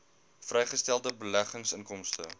vrygestelde beleggingsinkomste